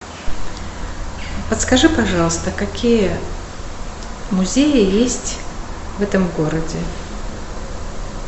подскажи пожалуйста какие музеи есть в этом городе